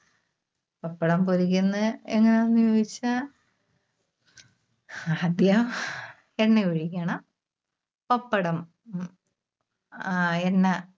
പപ്പടം പൊരിക്കുന്നത് എങ്ങനാന്ന് ചോദിച്ചാ? ആദ്യം എണ്ണ ഒഴിക്കണം. പപ്പടം, ആ എണ്ണ